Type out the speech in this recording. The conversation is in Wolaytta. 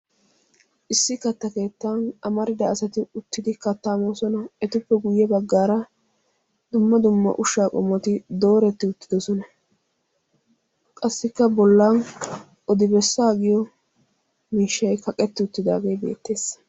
Issi katta keettan amarida asati uttidi katta moosona. Etuppe guyye baggaara dumma dumma ushsha qommoti dooreti uttidoosona. Qassikka bollan odi-bessaa giyo miishshay kaqqeti uttaage beettees.